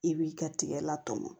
I b'i ka tigɛ la tɔmɔ